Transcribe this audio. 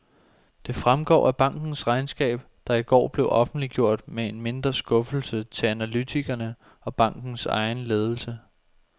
Det fremgår af bankens regnskab, der i går blev offentliggjort med en mindre skuffelse til analytikerne og bankens egen ledelse.